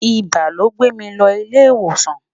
ibà ló gbè mí ló ilé ìwòsàn